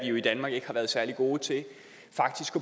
i danmark ikke har været særlig gode til faktisk